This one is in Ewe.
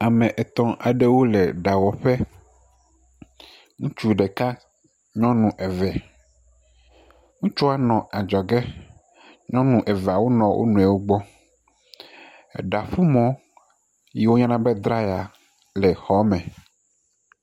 Ae etɔ̃ aɖewo le ɖawɔƒe. Ŋutsu ɖeka. Nyɔnu eve. Ŋutsua nɔ adzɔge. Nyɔnu eveawo nɔ wo nɔewo gbɔ. Eɖaƒumɔ yi woyɔna be draɛya le xɔɔme.